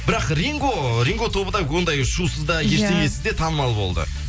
бірақ ринго ринго тобы да ондай шусыз да ештеңесіз де танымал болды